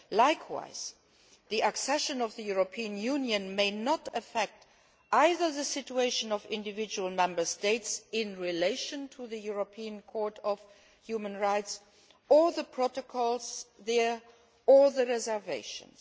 Likewise, the accession of the European Union may not affect either the situation of individual Member States in relation to the European Court of Human Rights or the protocols there or the reservations.